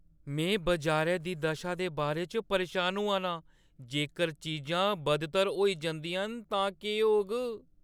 में बजारै दी दशा दे बारे च परेशान होआ नां। जेकर चीजां बद्तर होई जंदियां न तां केह् होग?